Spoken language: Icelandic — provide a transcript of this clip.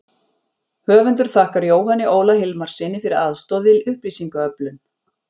Höfundur þakkar Jóhanni Óla Hilmarssyni fyrir aðstoð við upplýsingaöflun.